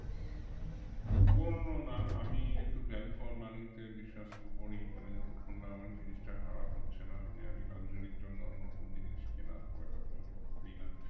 পুরোনো না আমি একটু value for money তে বিশ্বাস করি মানে যতক্ষণ না আমার জিনিসটা খারাপ হচ্ছেনা মানে আমি luxury এর জন্য নতুন জিনিস কেনা খুব একটা পছন্দ করিনা